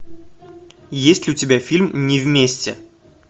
есть ли у тебя фильм не вместе